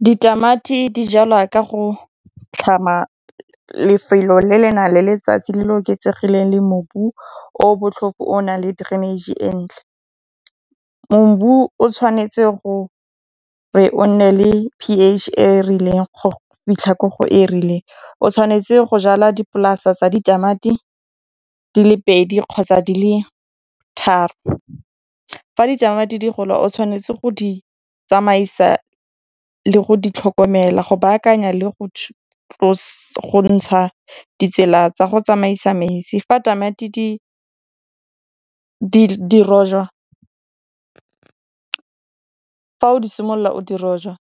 Ditamati di jalwa ka go tlhama lefelo le le nang le letsatsi le le oketsegileng le mobu o botlhofo o nang le drainage e ntle. o tshwanetse gore o nne le P_H e e rileng go fitlha ko go e rileng. O tshwanetse go jala dipolase tsa ditamati di le pedi kgotsa di le tharo, fa ditamati di gola o tshwanetse go di tsamaisa le go ditlhokomela go baakanya le go ntsha ditsela tsa go tsamaisa metsi fa tamati di rojwa fa o di simolola o di rojwa